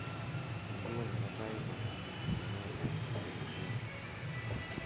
inguni ko sait ata en emet ab nairobi kenya